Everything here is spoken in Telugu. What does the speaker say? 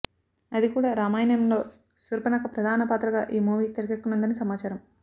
అది కూడా రామాయణంలో శూర్పణఖ ప్రదాన పాత్రగా ఈ మూవీ తెరకెక్కనుందని సమాచారం